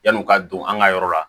Yan'o ka don an ka yɔrɔ la